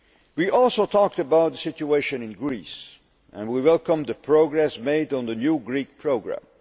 We also talked about the situation in Greece and we welcomed the progress made on the new Greek programme.